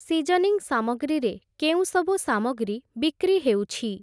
Seasoning ସାମଗ୍ରୀ ରେ କେଉଁସବୁ ସାମଗ୍ରୀ ବିକ୍ରି ହେଉଛି?